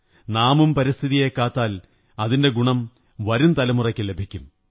നാമും പരിസ്ഥിതിയെ കാത്താൽ അതിന്റെ ഗുണം വരുംതലമുറയ്ക്കു ലഭിക്കും